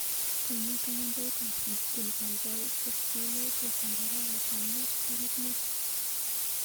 Konu kalendaitap google kaikai, tesyi yautyetap arawetap mut tarik mut.